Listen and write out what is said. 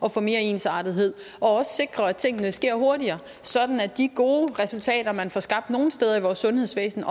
at få mere ensartethed og også sikre at tingene sker hurtigere sådan at de gode resultater man får skabt nogle steder i vores sundhedsvæsen